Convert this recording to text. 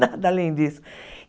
Nada além disso.